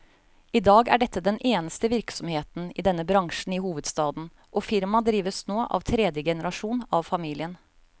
I dag er dette den eneste virksomheten i denne bransjen i hovedstaden, og firmaet drives nå av tredje generasjon av familien.